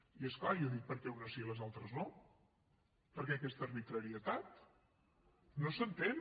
i és clar jo dic per què unes sí i les altres no per què aquesta arbitrarietat no s’entén